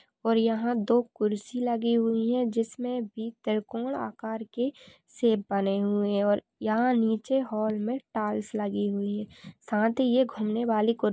और यहां दो कुर्सी लगी हुई है जिसमे भी त्रिकोण आकार के शेप बने हुए है और यहां निचे हॉल मे टाइल्स लगी हुई है साथ ही ये घूमने वाली कुर--